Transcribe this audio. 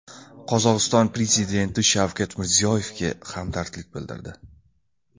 Qozog‘iston prezidenti Shavkat Mirziyoyevga hamdardlik bildirdi.